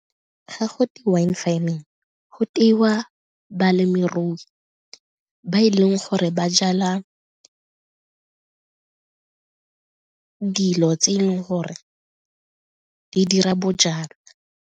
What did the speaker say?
Ga go twe wine farming go tewa balemirui ba e leng gore ba jala dilo tse e leng gore di dira bojalwa.